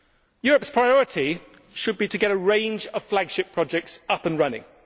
Europe's priority should be to get a range of flagship projects up and running.